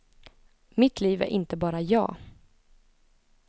Mitt liv är inte bara jag.